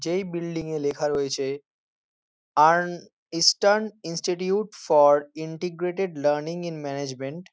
যেই বিল্ডিং -এ লেখা রয়েছে earn Eastern Institute for Integrated Learning in Management.